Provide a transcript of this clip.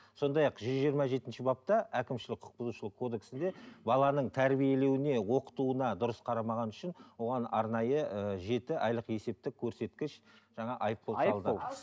сондай ақ жүз жиырма жетінші бапта әкімшілік құқық бұзушылық кодексінде баланың тәрбиелеуіне оқытуына дұрыс қарамағаны үшін оған арнайы ыыы жеті айлық есептік көрсеткіш жаңа айыппұл салды